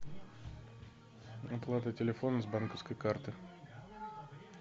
оплата телефона с банковской карты